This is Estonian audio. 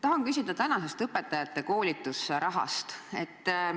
Tahan küsida õpetajate koolitusraha kohta.